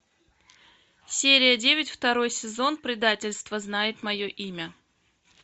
серия девять второй сезон предательство знает мое имя